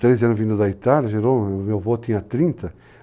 Com 13 anos vindo da Itália, meu avô tinha 30.